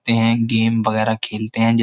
Game वगेरा खेलते है।